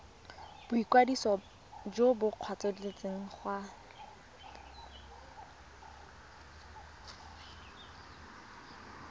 boikwadiso jo bo kgethegileng go